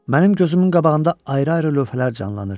Mənim gözümün qabağında ayrı-ayrı lövhələr canlanır.